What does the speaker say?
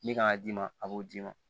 Min kan ka d'i ma a b'o d'i ma